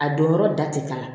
A don yɔrɔ da te k'a la